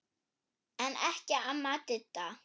En ekki amma Didda.